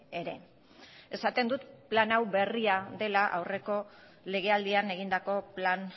ere esaten dut plan hau berria dela aurreko legealdian egindako plan